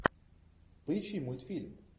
поищи мультфильм